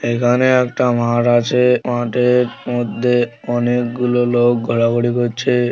এখানে একটা মাঠ আছে। মাঠের মধ্যে অনেকগুলো লোক ঘোরাঘুরি করছে।